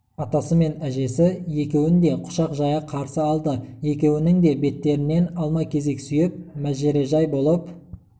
атасы мен әжесі екеуін де құшақ жая қарсы алды екеуінің де беттерінен алма-кезек сүйіп мәжірежай болып